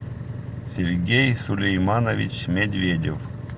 сергей сулейманович медведев